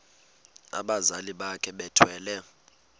abazali bakhe bethwele